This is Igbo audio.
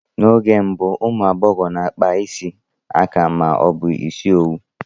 N'oge mbụ, ụmụ agbọghọ na-akpa isi aka ma ọ bụ ịsị owu